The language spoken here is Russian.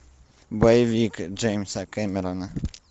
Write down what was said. боевик джеймса кэмерона